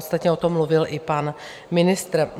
Ostatně o tom mluvil i pan ministr.